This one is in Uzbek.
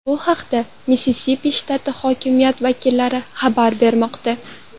Bu haqda Missisipi shtati hokimiyat vakillari xabar bermoqda.